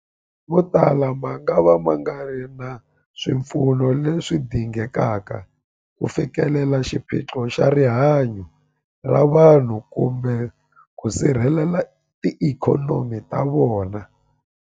Motala mangava ma nga ri na swipfuno leswi dingekaka ku fikelela xiphiqo xa rihanyu ra vanhu kumbe ku sirhelela tiikhonomi ta vona.